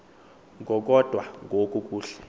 ngokokodwa ngoku kuhle